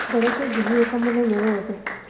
Ngoretwo ngĩhurũka mũthenya wothe